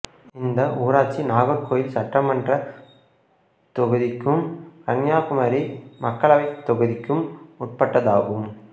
இந்த ஊராட்சி நாகர்கோயில் சட்டமன்றத் தொகுதிக்கும் கன்னியாகுமரி மக்களவைத் தொகுதிக்கும் உட்பட்டதாகும்